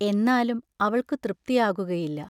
എന്നാലും അവൾക്കു തൃപ്തിയാകുകയില്ല.